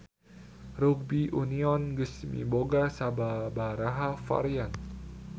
Rugbi union geus miboga sababaraha varian.